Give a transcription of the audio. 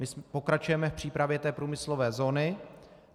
My pokračujeme v přípravě té průmyslové zóny.